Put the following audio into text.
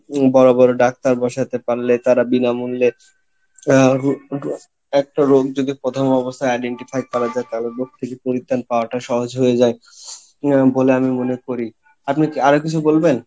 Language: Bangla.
বড় বড় ডাক্তার বসাতে পারলে তারা বিনা মূল্যের আহ একটা রোগ যদি প্রথম অবস্থাই identify করা যাই তাহলে রোগ থেকে পাওয়া টা সহজ হয়ে যায়, আহ বলে আমি মনে করি, আপনি কি আরো কিছু বলবেন?